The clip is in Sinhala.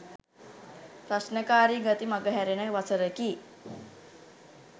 ප්‍රශ්නකාරී ගති මගහැරෙන වසරකි.